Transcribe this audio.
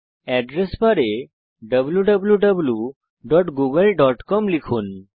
address বারে wwwgooglecom লিখুন